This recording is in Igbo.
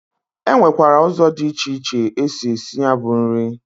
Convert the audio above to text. E nwekwara ụzọ dị iche iche esi esi ya bụ nri.